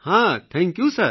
હા thank you sir